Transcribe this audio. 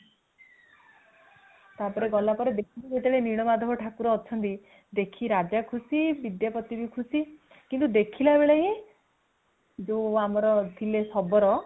ତା ପରେ ଗଲା ବେଳେ ଦେଖିଲେ ଯେମିତି ନୀଳମାଧବ ଠାକୁର ଅଛନ୍ତି ଦେଖିକି ରାଜା ବି ଖୁସି ବିଦ୍ୟାପତି ବି ଖୁସି କିନ୍ତୁ ଦେଖିଲା ବେଳେ ହିଁ ଜଉ ଆମର ଥିଲେ ଶବର